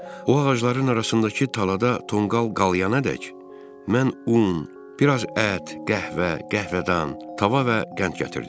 O ağacların arasındakı talada tonqal qalayana dək, mən un, biraz ət, qəhvə, qəhvədan, tava və qənd gətirdim.